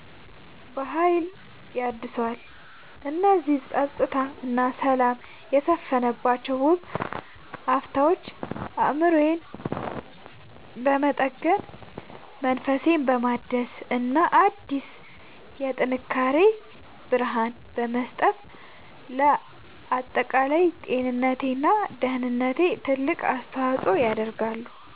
በሀይል ያድሰዋል። እነዚህ ፀጥታ እና ሰላም የሰፈነባቸው ውብ አፍታዎች አእምሮዬን በመጠገን፣ መንፈሴን በማደስ እና አዲስ የጥንካሬ ብርሃን በመስጠት ለአጠቃላይ ጤንነቴ እና ደህንነቴ ትልቅ አስተዋፅዖ ያደርጋሉ።